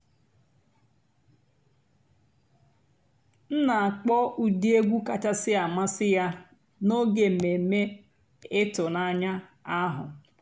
m nà-àkpọ́ ụ́dị́ ègwú kàchàsị́ àmásị́ yá n'óge èmèmé ị̀tụ́nànyá àhú́.